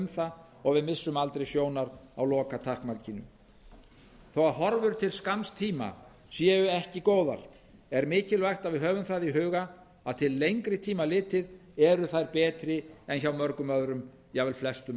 það og við missum aldrei sjónar á lokatakmarkinu þó að horfur til skamms tíma séu ekki góðar er mikilvægt að við höfum það í huga að til lengri tíma litið eru þær betri en hjá mörgum öðrum jafnvel flestum